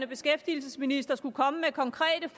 beskæftigelsesminister skulle komme med konkrete